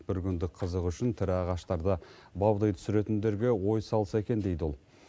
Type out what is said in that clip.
бір күндік қызық үшін тірі ағаштарды баудай түсіретіндерге ой салса екен дейді ол